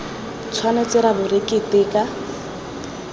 tshwanetse ra bo re keteka